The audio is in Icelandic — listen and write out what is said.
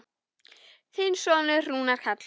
Þinn sonur, Rúnar Karl.